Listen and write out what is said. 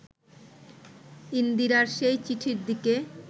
ইন্দিরার সেই চিঠির দিকে